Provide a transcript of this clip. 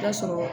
I b'a sɔrɔ